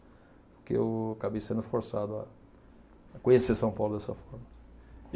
Porque eu acabei sendo forçado a a conhecer São Paulo dessa forma.